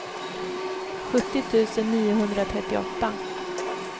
sjuttio tusen niohundratrettioåtta